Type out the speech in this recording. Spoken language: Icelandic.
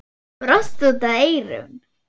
Brosti út að eyrum.